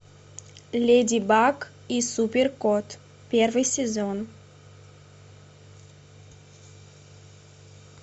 леди баг и супер кот первый сезон